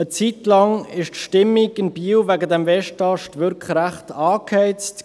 Eine Zeit lang war die Stimmung in Biel wegen des Westasts wirklich recht angeheizt.